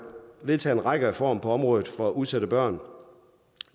vedtaget en række reformer på området for udsatte børn